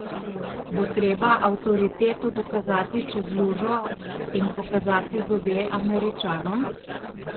Bo treba avtoriteto dokazati čez lužo in pokazati zobe Američanom?